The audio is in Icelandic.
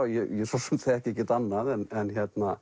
ég svo sem þekki ekkert annað en